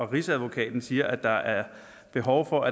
rigsadvokaten siger at der er behov for